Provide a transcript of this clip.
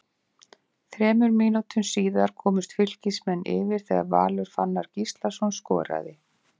Þremur mínútum síðar komust Fylkismenn yfir þegar Valur Fannar Gíslason skoraði.